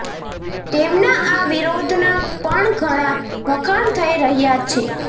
તેમના આ વિરોધના પણ ઘણા વખાણ થઇ રહયા છે